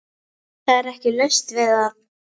Það er ekki laust við að